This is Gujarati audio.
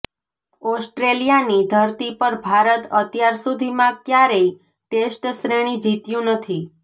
ઓસ્ટ્રેલિયાની ધરતી પર ભારત અત્યાર સુધીમાં ક્યારેય ટેસ્ટશ્રેણી જીત્યું નથી